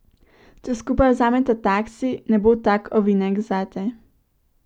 Če skupaj vzameta taksi, ne bo tak ovinek zate.